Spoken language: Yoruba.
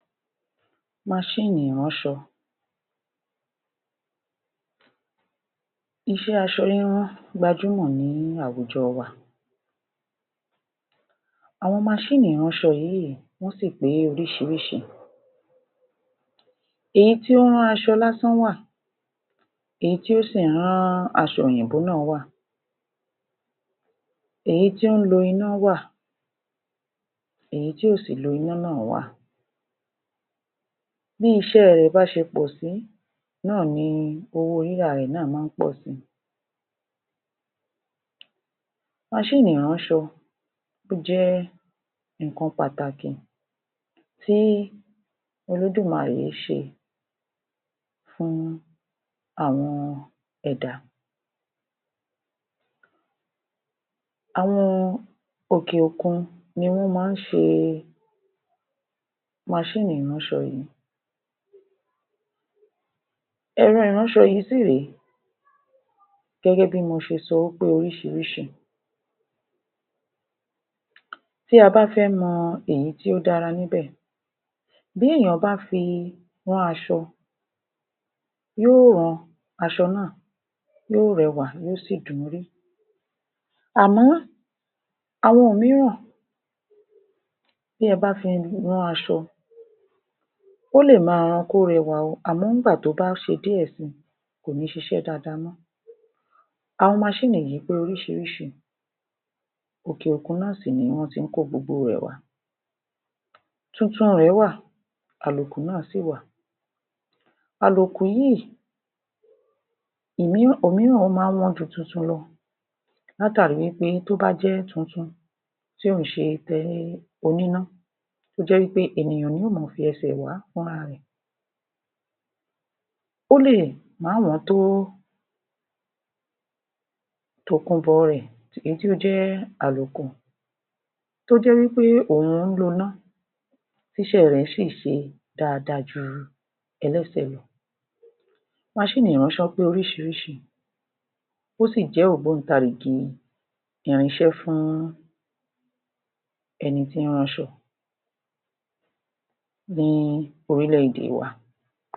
Maṣíìnì ìránṣọ! Iṣẹ́ aṣọ rírán gbajúmọ̀ ní àwùjọ wa. Àwọn maṣíìnì ìránṣọ yìí, wọ́n sì pé oríṣiríṣi. Èyí tí ó ń rán aṣọ lásán wà, èyí tí ó sì ń rán aṣọ òyìnbó náà wà. Èyí tí ó ń lo iná wà, èyí tí ò sì lo iná náà wà. Bí iṣẹ́ rẹ̀ bá ṣe pọ̀ sí náà ni owó rírà rẹ̀ náà máa ń pọ̀ si. Maṣíìnì ìránṣọ, ó jẹ́ nǹkan pàtàkì tí Olódùmarè ṣe fún àwọn ẹ̀dá. Àwọn òkè-òkun ni wọ́n máa ń ṣe maṣíìnì ìránṣọ yìí. Ẹ̀rọ ìránṣọ yìí sì rèé, gẹ́gẹ́ bí mo ṣe sọ wí pé oríṣirísi. Tí a bá fẹ́ mọ èyí tí ó dára níbẹ̀, bí èèyàn bá fi rán aṣọ, yóò rán aṣọ ná́à, yóò rẹwà, yóò sì dùn-ún rí. Àmọ́, àwọn òmíràn, bí ẹ bá fi rán aṣọ, ó lè máa ran kó rẹwà o, àmọ́ ìgbà tó bá ṣe díẹ̀ si, kò ní ṣiṣẹ́ dáadáa mọ́. Àwọn maṣíìnì yìí pé oríṣiríṣi, òkè-òkun náà sì ni wọ́n tí ń kó gbogbo rẹ̀ wá. Tuntun rẹ̀ wà, àlòkù náà sì wà. Àlòkù yíì, òhun náà ó máa ń wọn ju tuntun lọ. Látàrí wí pé, tó bá jẹ́ tuntun, tí ò kí í ṣe ti oníná. Tó jẹ́ pé ènìyàn ni yóò máa fi ẹsẹ̀ wà á fúnra rẹ̀. Ó lè má wọ́n tó tòkunbọ̀ rẹ̀, èyí tí ó jẹ́ àlòkù. Tó jẹ́ wí pé òhún ń loná, tíṣẹ́ rẹ̀ sì ṣe dáadáa ju ẹlẹ́sẹ̀ lọ. Maṣíìnì ìránṣọ pé oríṣiríṣi, ó sì jẹ́ ògbóǹtarìgì irinṣé fún ẹni tí ń ránṣọ ní orílẹ̀-èdè wa.